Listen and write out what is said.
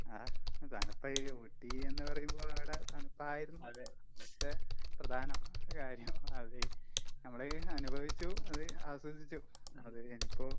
ആഹ് അതാണിപ്പ ഈ ഊട്ടിയെന്ന് പറയുമ്പോൾ അവടെ തണുപ്പായിരുന്നു പക്ഷെ പ്രധാന കാര്യം അത്. നമ്മള് അനുഭവിച്ചു അത് ആസ്വദിച്ചു. അത് കഴിഞ്ഞപ്പോ